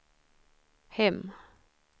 hem